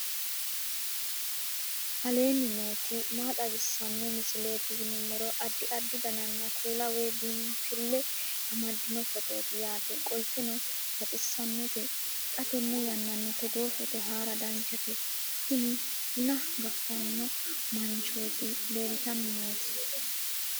aleenni nooti maa xawisanno misileeti yinummoro addi addi dananna kuula woy biinfille amaddino footooti yaate qoltenno baxissannote xa tenne yannanni togoo footo haara danchate tini buna gaffanno manchooti leeltanni nooti